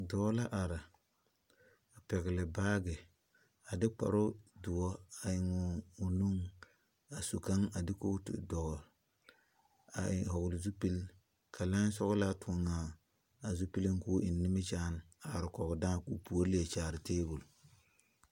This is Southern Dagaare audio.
Dɔɔ la are. A pɛgle baagi. A de kparo duo a eŋ o nu. A su kang a de kooto dogle. A e vogle zupul ka lai sɔglaa tuɔŋ a zupuluŋ k'o eŋ nimikyaane a are kɔge daa k'o poore liɛ kyaare tabul